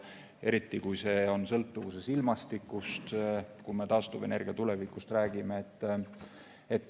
Eriti kui see on sõltuvuses ilmastikust, kui me taastuvenergia tulevikust räägime.